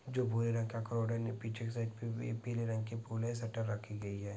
जो भूरे रंग का है पिछे से पी पी पीले रंग का फूल है शटर रखी गई है।